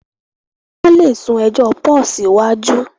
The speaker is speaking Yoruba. wón lè sún ejò Paul siwaju.